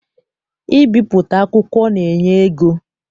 Mbipụta akwụkwọ na-enye ego.